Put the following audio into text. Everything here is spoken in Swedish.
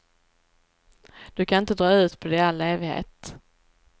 Du kan inte dra ut på det i all evighet.